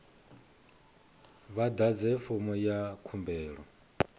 vha ḓadze fomo ya khumbelo